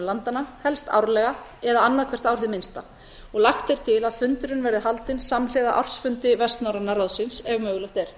landanna helst árlega eða annað hvert ár hið minnsta lagt er til að fundurinn verði haldinn samhliða ársfundi vestnorræna ráðsins ef mögulegt er